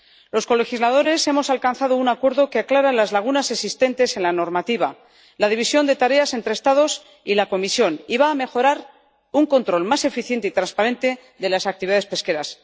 Los colegisladores hemos alcanzado un acuerdo que aclara las lagunas existentes en la normativa y la división de tareas entre los Estados y la Comisión y que va a aportar un control más eficiente y transparente a las actividades pesqueras.